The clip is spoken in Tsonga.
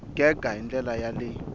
gega hi ndlela ya le